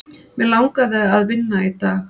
Mig langaði að vinna í dag.